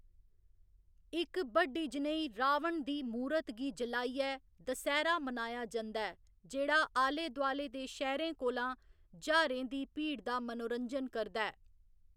इक बड्डी जनेही 'रावण दी मूरत' गी जलाइयै दसैह्‌‌रा मनाया जंदा ऐ, जेह्‌‌ड़ा आले दुआले दे शैह्‌‌‌रें कोला ज्हारें दी भीड़ दा मनोरंजन करदा ऐ।